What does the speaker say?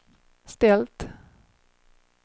ställt